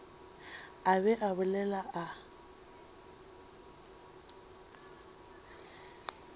a be a bolela a